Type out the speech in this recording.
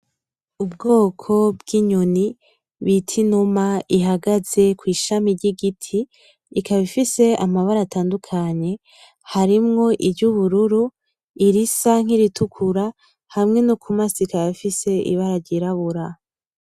Ubwoko bw'inyoni bita inuma ihagaze kw'ishami ry'igiti ikaba ifise amabara atandukanye, harimwo iry'ubururu, irisa nk'iritukura hamwe no ku maso ikaba ifise ibara ryirabura.